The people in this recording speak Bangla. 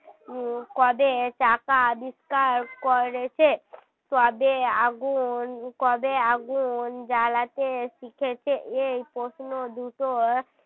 কবে চাকা আবিষ্কার করেছে কবে আগুন কবে আগুন জ্বালাতে শিখেছে এই প্রশ্ন দুটো